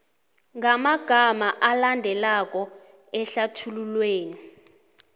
ngamagama alandelako ehlathululweni